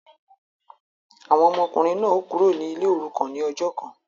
Awọn ọmọkunrin náà o Kúrò ní ilé orukan ní ọjọ kàn